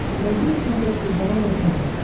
найди на смотрешке здоровое тв